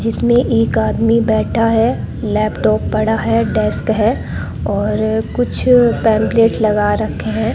जिसमें एक आदमी बैठा है लैपटॉप पड़ा है डस्ट है और कुछ पैंपलेट लगा रखे हैं।